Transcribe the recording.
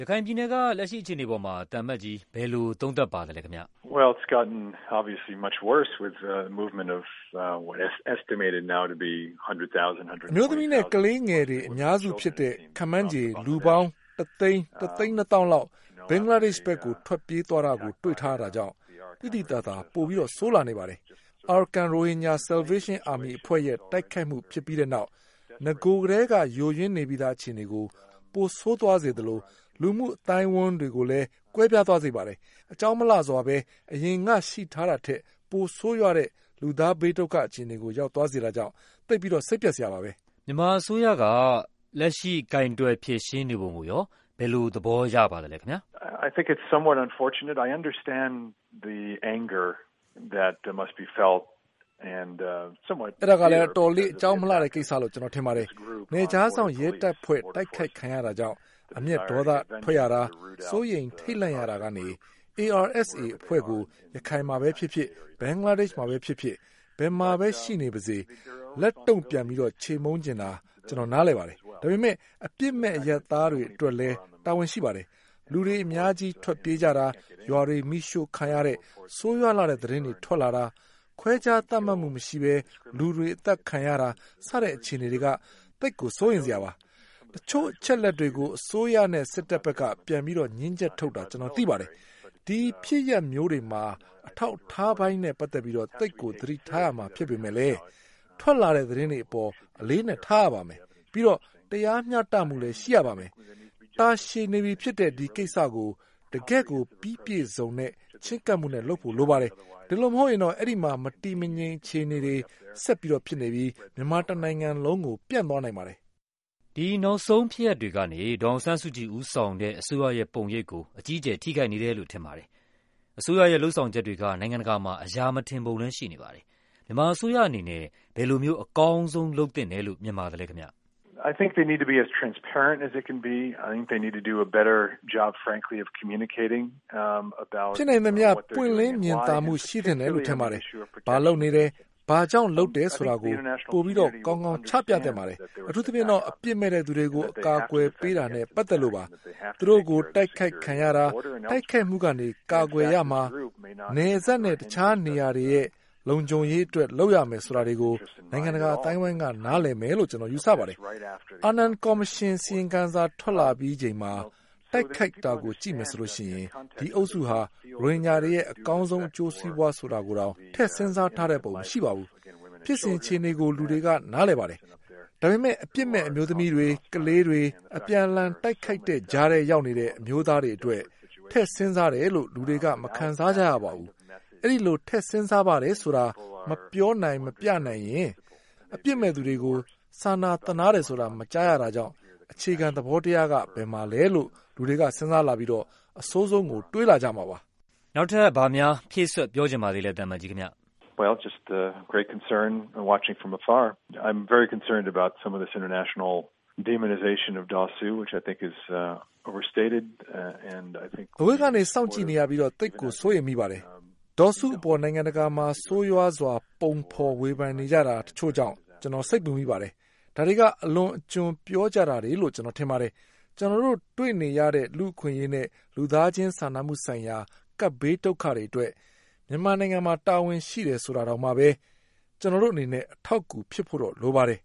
ရခိုင်ပြည်နယ်က လက်ရှိအခြေအနေအပေါ် သံအမတ်ကြီး ဘယ်လိုသုံးသပ်ပါသလဲ။ အမျိုးသမီးနဲ့ ကလေးငယ်တွေ အများစုဖြစ်တဲ့ ခန့်မှန်းခြေလူပေါင်း ၁ သိန်း၊ ၁ သိန်းနှစ်သောင်းလောက် ဘင်္ဂလားဒေ့ရှ် ဘက် ထွက်ပြေးသွားတာကို တွေ့ထားရတာကြောင့် သိသိသာသာကို ပိုဆိုးလာပါတယ်။ Arakan Rohingya Salvation Army အဖွဲ့ရဲ့တိုက်ခိုက်မှု ဖြစ်ပြီးတဲ့နောက် နဂိုကတည်းက ယိုယွင်းနေပြီးသား အခြေအနေကို ပိုဆိုးသွားစေသလို လူမှုအဝန်းအဝိုင်း တွေကိုလဲ ကွဲပြားသွားစေပါတယ်။ အကြောင်းမလှစွာဘဲ အရင်ကရှိထားတာထက် ပိုဆိုးရွားတဲ့ လူသားဘေးဒုက္ခအခြေအနေကို ရောက်သွားစေတာကြောင့် သိပ်ကို စိတ်ပျက်စရာပါ။ မြန်မာအစိုးရက လက်ရှိ ကိုင်တွယ်ဖြေရှင်းနေပုံကိုရော ဘယ်လိုသဘောရပါလဲခင်ဗျ။ အဲဒါကလဲ အတော်လေး အကြောင်းမလှဘူးလို့ ကျနော်ထင်ပါတယ်။ နယ်ခြားစောင့်ရဲတပ်ဖွဲ့ တိုက်ခိုက်ခံရတာကြောင့် အမျက်ဒေါသထွက်ရတာ၊ စိုးရိမ်ထိတ်လန့်ရတာကနေ ARSA အဖွဲ့ကို ရခိုင်မှာပဲဖြစ်ဖြစ်၊ ဘင်္ဂလားဒေ့ရှ်မှာပဲဖြစ်ဖြစ် ဘယ်မှာပဲ ရှိနေပါစေ လက်တုန့်ပြန်ပြီး ချေမှုန်းချင်တာ ကျနော်နားလည်ပါတယ်။ ဒါပေမဲ့ အပြစ်မဲ့ အရပ်သားတွေအတွက်လဲ တာဝန်ရှိပါ တယ်။ လူတွေအများကြီး ထွက်ပြေးကြတာ၊ ရွာတွေမီးရှို့ခံရတဲ့ ဆိုးရွားလှတဲ့သတင်းတွေ ထွက်လာတာ၊ ခွဲခြားသတ်မှတ်မှုမရှိဘဲ လူတွေအသတ်ခံရတာ စတဲ့အခြေအနေတွေက သိပ်ကို စိုးရိမ်စရာပါ။ တချို့အချက်အလက်တွေကို အစိုးရနဲ့စစ်ဘက်က ပြန်ပြီး ငြင်းချက်ထုတ်တာ ကျနော်သိပါတယ်။ အဲဒီဖြစ်ရပ်မျိုးတွေမှာ အထောက်အထားပိုင်းနဲ့ပတ်သက်ပြီး သိပ်ကို သတိထားရမှာ ဖြစ်ပေမယ့်လဲ ထွက်လာတဲ့သတင်းတွေအပေါ် အလေးအနက်ထားရပါမယ်။ ပြီးတော့ တရားမျှတမှုရှိရပါမယ်။ တာရှည်နေပြီဖြစ်တဲ့ ဒီကိစ္စကို တကယ့်ကိုပြီးပြည့်စုံတဲ့ ချဉ်းကပ်မှုနဲ့ လုပ်ဖို့လိုပါတယ်။ အဲဒီလိုမဟုတ်ရင်တော့ အဲဒီမှာ မတည်မငြိမ်အခြေအနေ ဆက် ဖြစ်ပြီး မြန်မာတနိုင်ငံလုံးကို ပြန့်သွားနိုင်ပါတယ်။ ဒီနောက်ဆုံးဖြစ်ရပ်တွေကနေ ဒေါ်အောင်ဆန်းစုကြည်ဦးဆောင်တဲ့ အစိုးရရဲ့ပုံရိပ်ကို အကြီးအကျယ် ထိခိုက်နေတယ်လို့ ထင်ပါတယ်။ အစိုးရရဲ့လုပ်ဆောင်ချက်တွေက နိုင်ငံတကာမှာ အရာမထင်ပုံလဲရှိနေပါတယ်။ မြန်မာအစိုးရအနေနဲ့ ဘယ်လိုမျိုး အကောင်းဆုံး လုပ်သင့်တယ်လို့ မြင်ပါသလဲ။ ဖြစ်နိုင်သမျှ ပွင့်လင်းမြင်သာမှု ရှိသင့်တယ်လို့ ထင်ပါတယ်။ ဘာလုပ်နေတယ်၊ ဘာ့ကြောင့်လုပ်တယ်ဆိုတာကို ပိုပြီး ကောင်းကောင်း ချပြသင့်ပါတယ်။ အထူးသဖြင့်တော့ အပြစ်မဲ့သူတွေကို အကာအကွယ်ပေးတာနဲ့ ပတ်သက်လို့ပါ။ သူတို့ကို တိုက်ခိုက်ခံရတာ၊ တိုက်ခိုက်မှုကနေ ကာကွယ်ရမှာ၊ နယ်စပ်နဲ့တခြားနေရာတွေရဲ့ လုံခြုံရေးအတွက် လုပ်ရမယ်ဆိုတာတွေကို နိုင်ငံတကာအသိုင်းအဝိုင်းက နားလည်မယ်လို့ ကျနော်ယူဆပါတယ်။ အာနန်ကော်မရှင်အစီရင်ခံစာ ထွက်လာပြီးချိန်မှာ တိုက်ခိုက်တာကို ကြည့်မယ်ဆိုရင် ဒီအုပ်စုဟာ ရိုဟင်ဂျာတွေရဲ့ အကောင်းဆုံး အကျိုးစီးပွားဆိုတာကိုတောင် ထည့်စဉ်းစားတဲ့ပုံ မရှိပါဘူး။ ဖြစ်စဉ်အခြေအနေကို လူတွေကနားလည်ပါတယ်။ ဒါပေမဲ့ အပြစ်မဲ့ အမျိုးသမီးတွေ၊ ကလေးတွေ၊ အပြန်အလှန် တိုက်ခိုက်တဲ့ကြားထဲရောက်နေတဲ့ အမျိုးသားတွေအတွက် ထည့်စဉ်းစားတယ်လို့ လူတွေက မခံစားကြရပါဘူး။ အဲဒီလို ထည့် စဉ်းစားပါတယ်ဆိုတာ မပြောနိုင်မပြနိုင်ရင် အပြစ်မဲ့သူတွေကို စာနာသနားတယ်ဆိုတာ မကြားရတာကြောင့် အခြေခံ သဘော တရားက ဘယ်မှာလဲလို့ လူတွေကစဉ်းစားလာပြီး အဆိုးဆုံးကို တွေးလာကြမှာပါ။ ဘာများ ဖြည့်စွက်ပြောချင်ပါသေးလဲခင်ဗျ။ အဝေးကနေ စောင့်ကြည့်နေရပြီး သိပ်ကို စိုးရိမ်မိပါတယ်။ ဒေါ်စုအပေါ် နိုင်ငံတကာမှာ ဆိုးရွားစွာ ပုံဖော်ဝေဖန်နေကြတာ တချို့ကြောင့် ကျနော် စိတ်ပူမိပါတယ်။ အဲဒါတွေက အလွန်အကျွံပြောကြတာတွေလို့ ကျနော်ထင်ပါတယ်။ ကျနော်တို့ တွေ့နေရ တဲ့ လူ့အခွင့်အရေးနဲ့ လူသားချင်းစာနာမှုဆိုင်ရာ ကပ်ဘေးဒုက္ခတွေအတွက် မြန်မာနိုင်ငံမှာ တာဝန်ရှိတယ်ဆိုတာတောင်မှပဲ ကျနော်တို့အနေနဲ့ အထောက်အကူဖြစ်ဖို့တော့ လိုပါတယ်